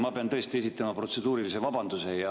Ma pean tõesti esitama protseduurilise vabanduse.